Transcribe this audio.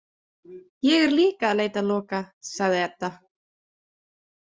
Ég er líka að leita að Loka, sagði Edda.